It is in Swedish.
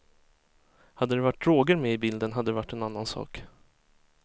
Hade det varit droger med i bilden hade det varit en annan sak.